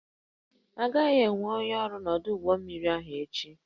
Agaghị enwe onye ọrụ n'ọdụ ụgbọ mmiri echi